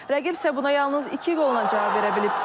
Rəqib isə buna yalnız iki qolla cavab verə bilib.